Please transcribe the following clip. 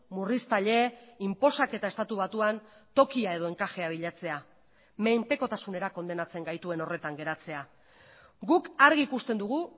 murriztaile inposaketa estatu batuan tokia edo enkajea bilatzea menpekotasunera kondenatzen gaituen horretan geratzea guk argi ikusten dugu